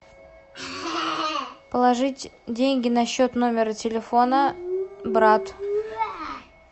положить деньги на счет номера телефона брат